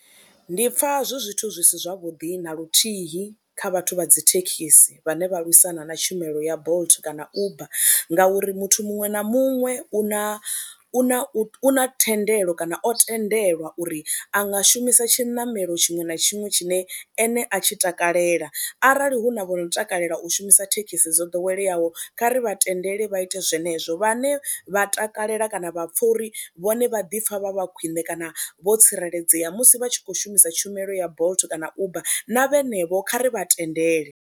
Ndi pfha zwi zwithu zwi si zwavhuḓi na luthihi kha vhathu vha dzi thekhisi vhane vha lwisana na tshumelo ya Bolt kana Uber ngauri muthu muṅwe na muṅwe u na u na u na thendelo kana o tendelwa uri a nga shumisa tshiṋamelo tshiṅwe na tshiṅwe tshine ene a tshi takalela arali hu na vho no takalela u shumisa thekhisi dzo ḓoweleyaho kha ri vha tendele vha ite zwenezwo, vhane vha takalela kana vha pfha uri vhone vha ḓi pfha vha vha khwine kana vho tsireledzea musi vha tshi kho shumisa tshumelo ya Bolt kana Uber na vhenevho kha ri vha tendele.